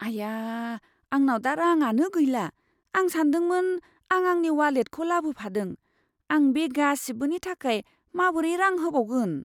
आया! आंनाव दा राङानो गैला, आं सानदोंमोन आं आंनि वालेटखौ लाबोफादों। आं बे गासिबोनि थाखाय माबोरै रां होबावगोन?